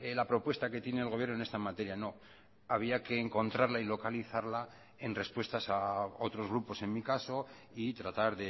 la propuesta que tiene el gobierno en esta materia no había que encontrarla y localizarla en respuestas a otros grupos en mi caso y tratar